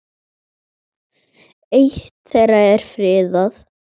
Eitt þeirra er friðað.